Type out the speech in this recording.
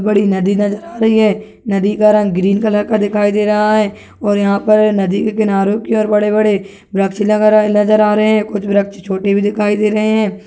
बड़ी नदी नज़र आ रही है नदी का रंग ग्रीन कलर का दिखाई दे रहा है और यहाँ पर नदी के किनारे की ओर बड़े-बडे वृक्ष लगे नज़र आ रहे है कुछ वृक्ष छोटे भी दिखाई दे रहे है।